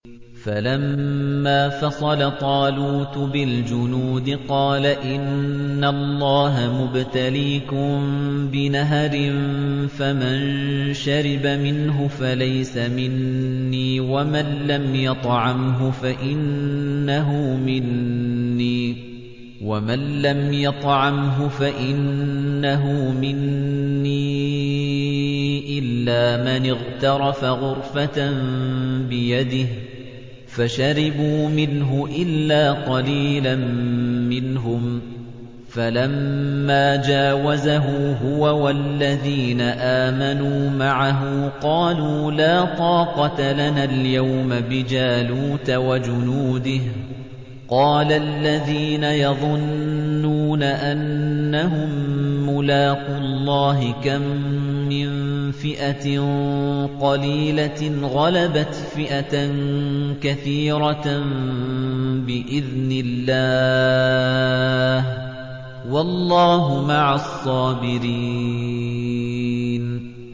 فَلَمَّا فَصَلَ طَالُوتُ بِالْجُنُودِ قَالَ إِنَّ اللَّهَ مُبْتَلِيكُم بِنَهَرٍ فَمَن شَرِبَ مِنْهُ فَلَيْسَ مِنِّي وَمَن لَّمْ يَطْعَمْهُ فَإِنَّهُ مِنِّي إِلَّا مَنِ اغْتَرَفَ غُرْفَةً بِيَدِهِ ۚ فَشَرِبُوا مِنْهُ إِلَّا قَلِيلًا مِّنْهُمْ ۚ فَلَمَّا جَاوَزَهُ هُوَ وَالَّذِينَ آمَنُوا مَعَهُ قَالُوا لَا طَاقَةَ لَنَا الْيَوْمَ بِجَالُوتَ وَجُنُودِهِ ۚ قَالَ الَّذِينَ يَظُنُّونَ أَنَّهُم مُّلَاقُو اللَّهِ كَم مِّن فِئَةٍ قَلِيلَةٍ غَلَبَتْ فِئَةً كَثِيرَةً بِإِذْنِ اللَّهِ ۗ وَاللَّهُ مَعَ الصَّابِرِينَ